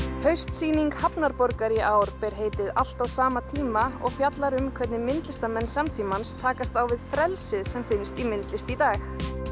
haustsýning hafnarborgar í ár ber heitið allt á sama tíma og fjallar um hvernig myndlistarmenn samtímans takast á við frelsið sem finnst í myndlist í dag